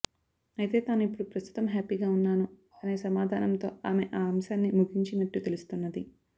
అయితే తాను ఇప్పుడు ప్రస్తుతం హ్యాపీగా ఉన్నాను అనే సమాధానంతో ఆమె ఆ అంశాన్ని ముగించినట్టు తెలుస్తున్నది